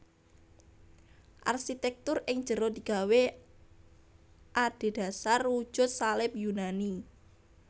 Arsitèktur ing jero digawé adhedhasar wujud salib Yunani